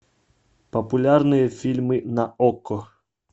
популярные фильмы на окко